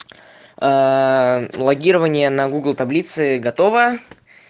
ээ логирование на гугл таблицы готово